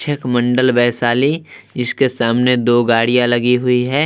छिक मंडल वैशाली इसके सामने दो गाड़ियां लगी हुई है।